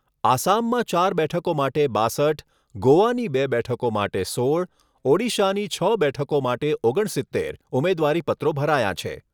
આસામમાં ચાર બેઠકો માટે બાસઠ, ગોવાની બે બેઠકો માટે સોળ, ઓડિશાની છ બેઠકો માટે ઓગણ સિત્તેર, ઉમેદવારી પત્રો ભરાયાં છે.